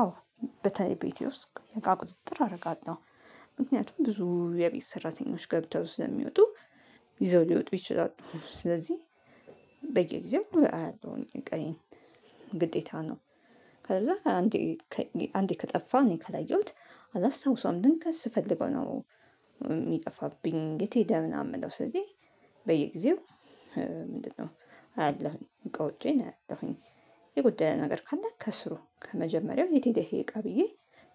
አዎ። በተለይ ቤቴ ውስጥ እቃ ቁጥጥር አረጋለው። ምክንያቱም ብዙ የቤት ስራተኞች ገብተው ስለሚወጡ። ይዘው ሊወጡ ይችላሉ። ስለዚህ በየጊዜው አያለሁኝ እቃዬን ግዴታ ነው። ከዛ አንዴ አንዴ ከጠፋ እኔ ካለየሁት አላስታውሰውም ድንገት ስፈልገው ነው። ሚጠፋብኝ የት ሄደ ምናምን ምለው ስለዚህ በየጊዜው ምንድነው? አያለሁኝ እቃዎቼን አያለሁኝ። የጎደለ ነገር ካለ ከስሩ ከመጀመሪያው የት ሄደ ይሄ እቃ ብዬ